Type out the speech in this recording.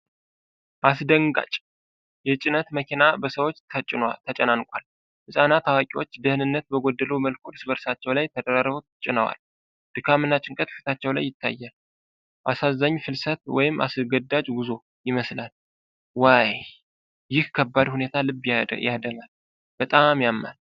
አስደንጋጭ! የጭነት መኪና በሰዎች ተጨናንቋል። ህፃናትና አዋቂዎች ደህንነት በጎደለው መልኩ እርስ በእርሳቸው ላይ ተደራርበው ጭነዋል። ድካም እና ጭንቀት ፊታቸው ላይ ይታያል። አሳዛኝ ፍልሰት ወይም አስገዳጅ ጉዞ ይመስላል። ዋይ! ይህ ከባድ ሁኔታ ልብ ያደማል። በጣም ያማል።